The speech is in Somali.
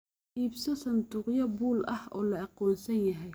Iibso sanduuqyo buul ah oo la aqoonsan yahay.